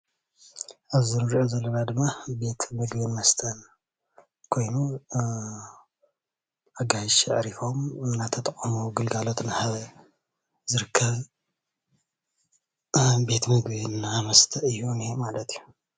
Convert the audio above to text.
ኣዚ እንሪኦ ዘለና ድማ ቤት ብልዕን መስተን ኮይኑ ኣጋይሽ ኣዕሪፎም እንዳተጠቀሙ ግልጋሎት እንዳሃበ ዝርከብ ቤት ምግቢ እና መስተን እዩ ዝነሄ ማለት እዩ፡፡